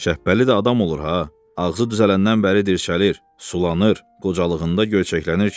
Şəpbəli də adam olur ha, ağzı düzələndən bəri dirçəlir, sulanır, qocalığında gözəklənir kişi.